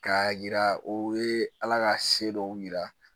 K'a yira o ye ala ka se dɔw yira